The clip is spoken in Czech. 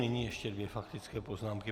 Nyní ještě dvě faktické poznámky.